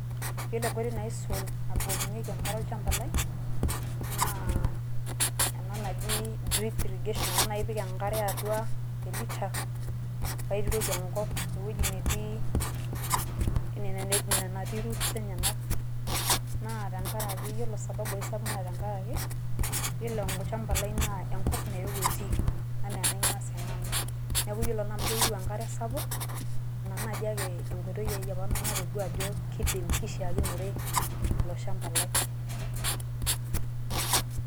Iyiolo enkoitoi naaisul nabukokinyeki enkare olchamba lai naa ena naji drip irrigation ena naa ipik enkare atua  elita paituroki enkop ewueji netii ine natii roots enyenak na tengaraki iyiolo sababu aisapuk na tengaraki iyiolo olchamba lai naa enkop nairowua etii anaa enaing'ua siinanu neaku iyiolo naamu keyiou enkare sapuk ina naji akee enkoitoiai apa natoduaajo kidim keishaikinore ilo shamba lai.